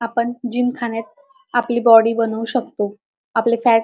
आपण जिमखान्यात आपली बॉडी बनवू शकतो आपले फॅट --